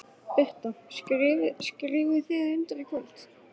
Birta: Skrifið þið undir í kvöld?